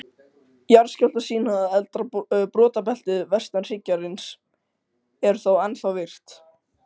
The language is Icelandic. Keppni hafin að nýju